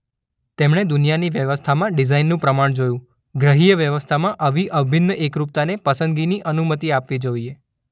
તેમણે દુનિયાની વ્યવસ્થામાં ડિઝાઇનનું પ્રમાણ જોયું ગ્રહીય વ્યવસ્થામાં આવી અભિન્ન એકરૂપતાને પસંદગીની અનુમતિ આપવી જોઈએ.